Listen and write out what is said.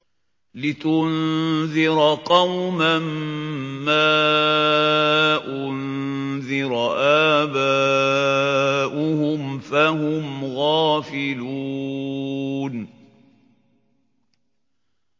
لِتُنذِرَ قَوْمًا مَّا أُنذِرَ آبَاؤُهُمْ فَهُمْ غَافِلُونَ